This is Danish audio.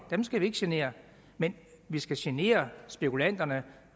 dem skal vi ikke genere men vi skal genere spekulanterne